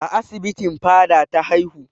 A asibitin Fada ta haihu.